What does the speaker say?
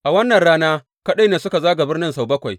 A wannan rana kaɗai ne suka zaga birnin sau bakwai.